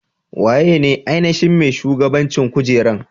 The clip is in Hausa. Waye ne ainashin mai shugaban cin kujeran?